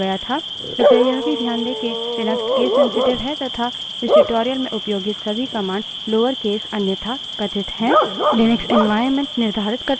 कृपया यह भी ध्यान दें कि लिनक्स case sensitive है तथा इस tutorial में उपयोगित सभी commands lower case अन्यथा कथित हैं